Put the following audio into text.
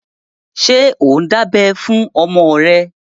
Ṣé ò ń dábẹ́ fún ọmọ rẹ?